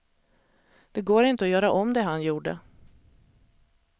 Det går inte att göra om det han gjorde.